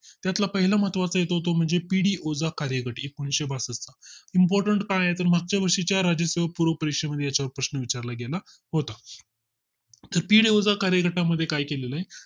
त्यात ला पहिला महत्त्वा चा आहे तो म्हणजे पिढी ओझा कार्यघत एकनिशे बासष्ट important काय आहे तर मागच्या वर्षीच्या राज्य सेवा पूर्व परीक्षेच्या प्रश्न विचार ला गेला होता कृपया चा कार्यकर्ता मध्ये काय केलेला आहे